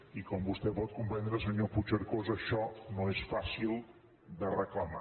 i com vostè pot comprendre senyor puigcercós això no és fàcil de reclamar